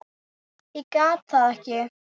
Ég get það ekki